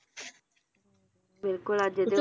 ਬਿਲਕੁਲ ਅੱਜ